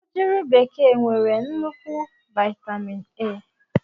Ugiri bekee nwere nnukwu vaitamin A.